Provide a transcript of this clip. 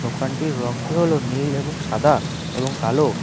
দোকানটির রংটি হলো নীল এবং সাদা এবং কালো।